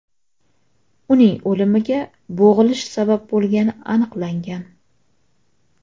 Uning o‘limiga bo‘g‘ilish sabab bo‘lgani aniqlangan.